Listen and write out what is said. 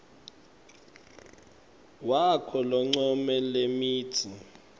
wakho loncome lemitsi